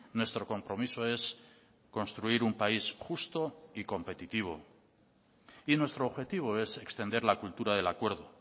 nuestro compromiso es construir un país justo y competitivo y nuestro objetivo es extender la cultura del acuerdo